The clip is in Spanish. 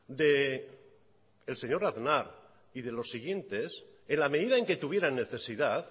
del señor aznar y de los siguientes en la medida en que tuvieran necesidad